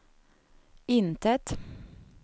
intet